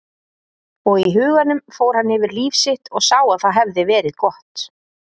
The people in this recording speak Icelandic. Og í huganum fór hann yfir líf sitt og sá að það hafði verið gott.